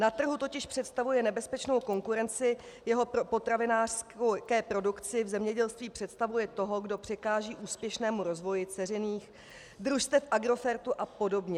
Na trhu totiž představuje nebezpečnou konkurenci jeho potravinářské produkci v zemědělství, představuje toho, kdo překáží úspěšnému rozvoji dceřiných družstev Agrofertu a podobně.